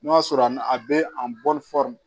N'o y'a sɔrɔ a n'a bɛ a bɔ